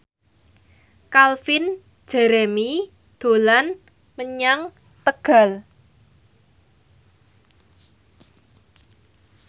Calvin Jeremy dolan menyang Tegal